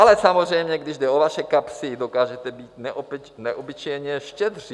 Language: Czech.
Ale samozřejmě, když jde o vaše kapsy, dokážete být neobyčejně štědří.